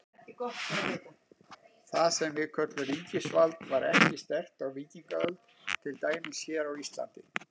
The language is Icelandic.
Það sem við köllum ríkisvald var ekki sterkt á víkingaöld, til dæmis hér á Íslandi.